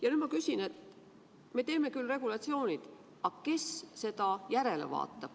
Ja nüüd ma küsin, et me teeme küll regulatsioonid, aga kes nende täitmist jälgib.